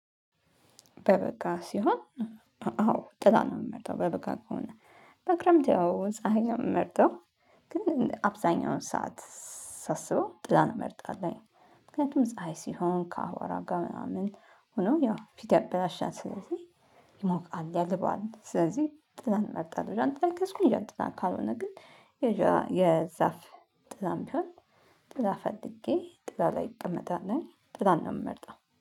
በበጋ ሲሆን አዎ ጥላ ነው የምመርጠው። በበጋ ከሆነ በክረምት ያው ፀሀይ የምመርጠው። ግን አብዛኛውን ሰዓት ሳስበው ጥላን እመርጣለሁ። ምክንያቱም ፀሀይ ሲሆን ከአቧራ ጋር ምናምን ሆኖ ያው ፊት ያበላሻል ስለዚህ ይሞቃል ያልባል ስለዚህ ጥላን እመርጣለሁ። ጃንጥላ ከያዝኩኝ ጃንጥላ ካልሆነ ግን የዛፍ ጥላም ቢሆን ጥላ ፈልጌ ጥላ ላይ እቀመጣለሁኝ ጥላን ነው የምመርጠው።